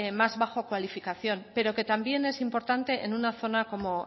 más baja cualificación pero que también es importante en una zona como